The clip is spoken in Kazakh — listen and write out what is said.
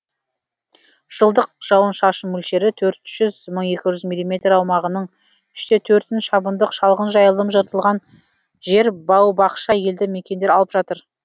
жылдық жауын шашын мөлшері төрт жүз мың екі жүз миллиметр аумағының үш те төртін шабындық шалғын жайылым жыртылған жер бау бақша елді мекендер алып жатыр